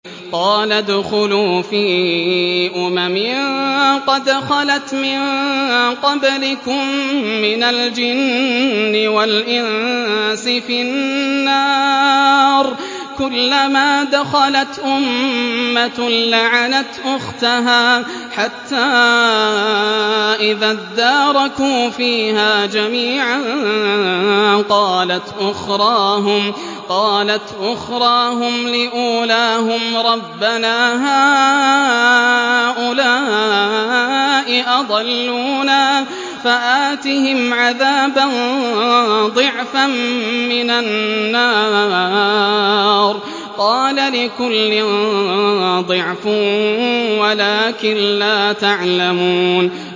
قَالَ ادْخُلُوا فِي أُمَمٍ قَدْ خَلَتْ مِن قَبْلِكُم مِّنَ الْجِنِّ وَالْإِنسِ فِي النَّارِ ۖ كُلَّمَا دَخَلَتْ أُمَّةٌ لَّعَنَتْ أُخْتَهَا ۖ حَتَّىٰ إِذَا ادَّارَكُوا فِيهَا جَمِيعًا قَالَتْ أُخْرَاهُمْ لِأُولَاهُمْ رَبَّنَا هَٰؤُلَاءِ أَضَلُّونَا فَآتِهِمْ عَذَابًا ضِعْفًا مِّنَ النَّارِ ۖ قَالَ لِكُلٍّ ضِعْفٌ وَلَٰكِن لَّا تَعْلَمُونَ